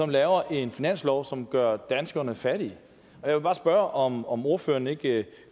laver en finanslov som gør danskerne fattige jeg vil bare spørge om om ordføreren ikke